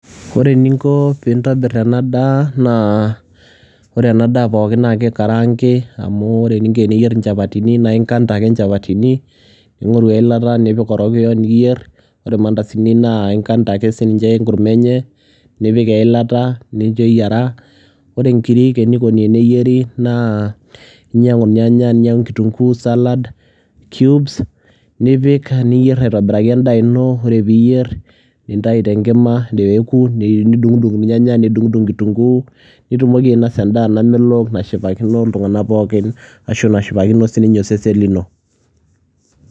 ore eninko pee intobir ena daa, ore ena daaa pookin naa kikaraangi. amu ore eninko teniyier inchapatini naa inkata ake nchapatini, nipik eilata, ningiru orokiyo, niyier, ore irmandasini inkanta ake sii ninche enkurma enye nipik eilata, nincho eyiara, ore nkirik eneikoni teneyiri naa ingoru ake kitunguu nigoru sala, cubes nipik niyier aitobiraki edaa ino ore peee iyier, nintayu tenkima, nidungidung irnyanaya, nidungudung kitunkuu nitumoki ainos aedaa namelok nashipakino iltungank pookin ashu nashi[akino sii ninye oseen lino.